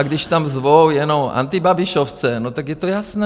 A když tam zvou jenom antibabišovce, no tak je to jasné.